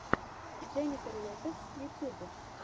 дженнифер лопез ютуб